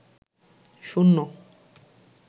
শুন্য